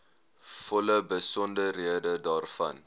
volle besonderhede daarvan